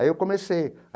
Aí eu comecei.